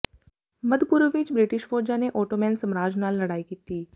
ਮੱਧ ਪੂਰਬ ਵਿਚ ਬ੍ਰਿਟਿਸ਼ ਫ਼ੌਜਾਂ ਨੇ ਓਟੋਮੈਨ ਸਾਮਰਾਜ ਨਾਲ ਲੜਾਈ ਕੀਤੀ